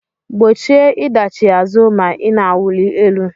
Gbochie ịdachi azụ ma ị na-awụli elu